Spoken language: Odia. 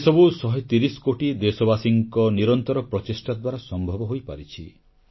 ଏସବୁ 130 କୋଟି ଦେଶବାସୀଙ୍କ ନିରନ୍ତର ପ୍ରଚେଷ୍ଟା ଦ୍ୱାରା ସମ୍ଭବ ହୋଇପାରିଛି